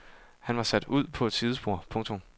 Han var sat ud på et sidespor . punktum